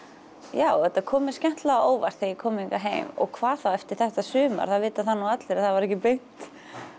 já þetta kom mér skemmtilega á óvart þegar ég kom hingað heim og hvað þá eftir þetta sumar það vita það nú allir að það var ekki beint